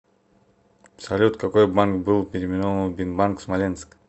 салют какой банк был переименован в бинбанк смоленск